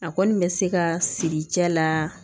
A kɔni bɛ se ka siri cɛ la